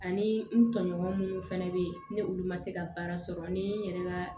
Ani n tɔɲɔgɔn minnu fɛnɛ be yen ni olu ma se ka baara sɔrɔ ni n yɛrɛ ka